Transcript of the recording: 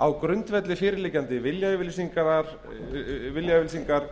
á grundvelli fyrirliggjandi viljayfirlýsingar